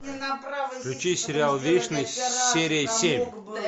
включи сериал вечность серия семь